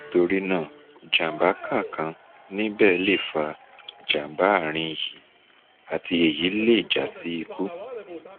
nítorí náà jamba kan kan níbẹ̀ lè fa jàm̀bá àárín yìí àti èyí lè já sí ikú